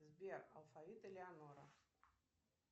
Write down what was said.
сбер алфавит элеонора